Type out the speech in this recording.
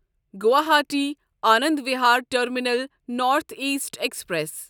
Guwahati Anand Vihar terminal north east express